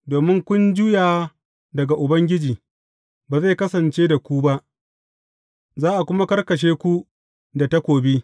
Domin kun juya daga Ubangiji, ba zai kasance da ku ba, za a kuma karkashe ku da takobi.